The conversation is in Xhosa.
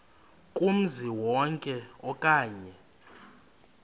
kumzi wonke okanye